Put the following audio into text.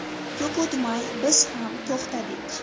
Ko‘p o‘tmay biz ham to‘xtadik.